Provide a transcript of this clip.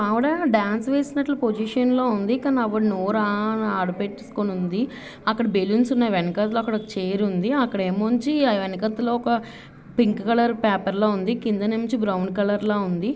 ఒక ఆవిడ డాన్స్ వేసినట్ల పొజిషన్ లో ఉంది. కాని ఆవిడ నోరు ఆ అని ఆడ పెట్టేసుకొని ఉంది. అక్కడ బెలూన్స్ ఉన్నాయి. వెనకత లో ఒక చైర్ ఉంది. అక్కడ ఏముంచి వెనకతలో ఒక పింక్ కలర్ పేపర్ లా ఉంది. కింద నుంచి బ్రౌన్ కలర్ లా ఉంది.